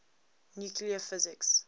nuclear physics